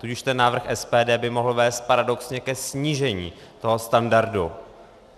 Tudíž ten návrh SPD by mohl vést paradoxně ke snížení toho standardu.